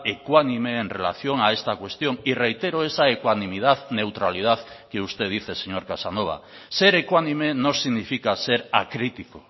ecuánime en relación a esta cuestión y reitero esa ecuanimidad neutralidad que usted dice señor casanova ser ecuánime no significa ser acrítico